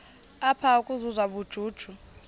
apha ukuzuza ubujuju